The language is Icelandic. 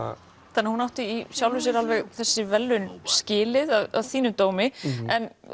þannig að hún átti í sjálfu sér alveg þessi verðlaun skilið að þínum dómi en